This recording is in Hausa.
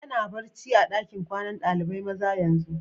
Yana barci a'dakin kwanan dalibain maza yanzu?